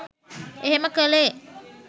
එහෙම කළේ.